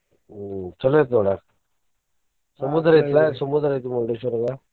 ಹ್ಮ್ ಚೊಲೋ ಐತಿ ನೋಡಾಕ ಸಮುದ್ರ ಐತಿಲಾ ಸಮುದ್ರ ಐತಿ Murdeshwar ದಾಗ.